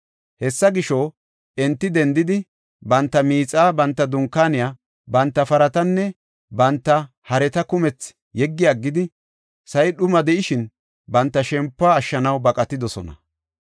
Hessa gisho, enti dendidi, banta miixaa, banta dunkaaniya, banta paratanne banta hareta kumethi yeggi aggidi, sa7i dhuma de7ishin, banta shempuwa ashshanaw baqatidosona.